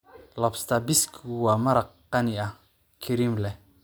Lobster biskigu waa maraq qani ah, kareem leh.